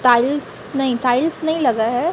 Tiles नहीं tiles नहीं लगा है।